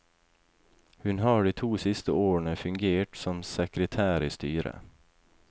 Hun har de to siste årene fungert som sekretær i styret.